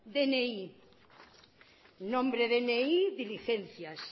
dni diligencias